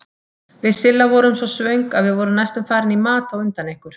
Við Silla vorum svo svöng að við vorum næstum farin í mat á undan ykkur.